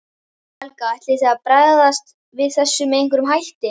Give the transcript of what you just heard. Helga: Ætlið þið að bregðast við þessu með einhverjum hætti?